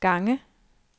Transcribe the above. gange